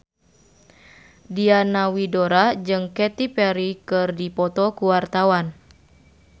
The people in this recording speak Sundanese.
Diana Widoera jeung Katy Perry keur dipoto ku wartawan